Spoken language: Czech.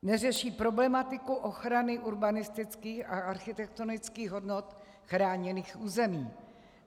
Neřeší problematiku ochrany urbanistických a architektonických hodnot chráněných území.